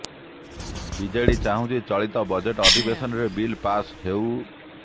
BJD ଚାହୁଁଛି ଚଳିତ budget ଅଧିବେଶନରେ ବିଲ୍ ପାସ୍ ହେଉ